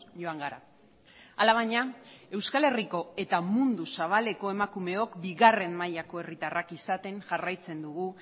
joan gara alabaina euskal herriko eta mundu zabaleko emakumeok bigarren mailako herritarrak izaten jarraitzen dugu